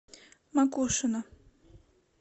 макушино